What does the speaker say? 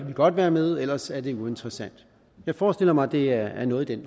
vi godt være med ellers er det uinteressant jeg forestiller mig at det er noget i den